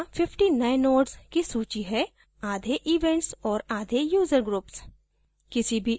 यहाँ 50 नए nodes की सूची हैआधे events और आधे user groups